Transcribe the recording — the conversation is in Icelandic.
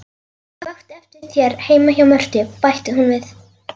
Ég vakti eftir þér heima hjá Mörtu, bætti hún við.